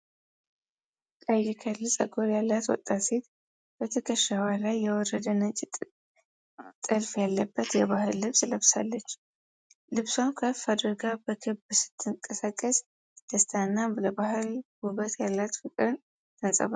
ቀይ ከርሊ ፀጉር ያላት ወጣት ሴት በትከሻዋ ላይ የወረደ ነጭ ጥልፍ ያለበት የባህል ልብስ ለብሳለች። ልብሷን ከፍ አድርጋ በክብ ስትንቀሳቀስ ደስታንና ለባህል ውበት ያላትን ፍቅርን ታንፀባርቃለች።